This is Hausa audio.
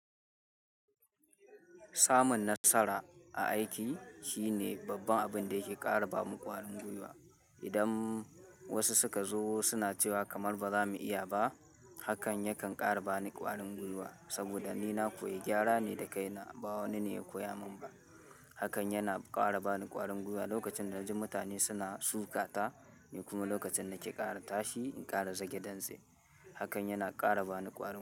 Samun nasara a aiki shine babban abin da yake ƙara ba ni ƙwarin gwiwa. Idan wasu suka zo suna cewa kamar ba za mu iya ba, hakan yakan ƙara ba ni ƙwarin gwiwa. Saboda ni na koyi gyara ne da kaina, ba wani ne ya koya mun ba. Hakan yana ƙara ba ni ƙwarin gwiwa lokacin da naji mutane suna sukata ni kuma lokacin da ke ƙara tashi in ƙara zage dantse. Hakan yana ƙara ba ni ƙwarin gwiwa.